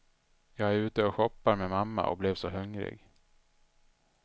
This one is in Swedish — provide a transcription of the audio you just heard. Jag är ute och shoppar med mamma och blev så hungrig.